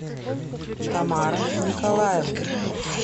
тамара николаевна